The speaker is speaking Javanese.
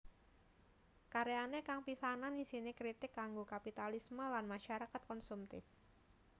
Karyane kang pisanan isine kritik kanggo kapitalisme lan masyarakat konsumtif